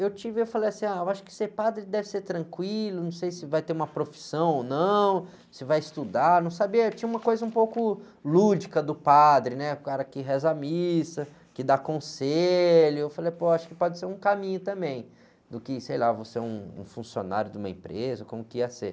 Eu tive, eu falei assim, ah, eu acho que ser padre deve ser tranquilo, não sei se vai ter uma profissão ou não, se vai estudar, não sabia, tinha uma coisa um pouco lúdica do padre, né, o cara que reza a missa, que dá conselho, eu falei, pô, acho que pode ser um caminho também, do que, sei lá, vou ser um, um funcionário de uma empresa, como que ia ser.